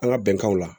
An ka bɛnkanw la